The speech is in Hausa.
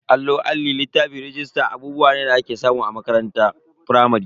Allo, Alli, littafi, rajista abubuwa ne da ake samu a cikin makarantar firamare.